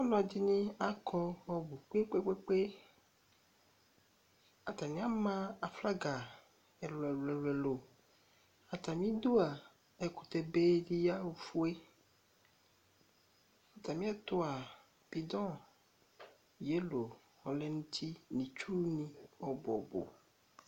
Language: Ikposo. Alo ɛdini akɔ ɔbʋ kpekpekpe, atani ama aflaga ɛlʋ ɛlʋ ɛlʋ Atamidu a, ɛkʋtɛ be di ya ofue, atamiɛtu a, bodon yelow ɔlɛ n'uti nʋ itsuŋi ɔbʋ ɔbʋ